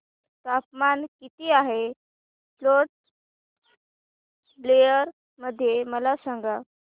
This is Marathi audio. तापमान किती आहे पोर्ट ब्लेअर मध्ये मला सांगा